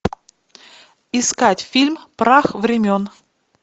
искать фильм прах времен